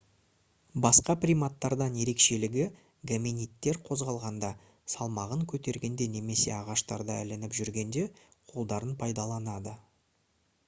басқа приматтардан ерекшелігі гоминидтер қозғалғанда салмағын көтергенде немесе ағаштарда ілініп жүргенде қолдарын пайдаланады